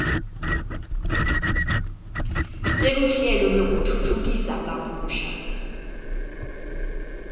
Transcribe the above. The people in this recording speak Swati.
seluhlelo lwekutfutfukisa kabusha